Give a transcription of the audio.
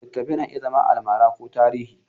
Littattafai na iya zama almara ko tarihi.